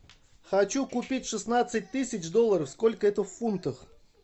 хочу купить шестнадцать тысяч долларов сколько это в фунтах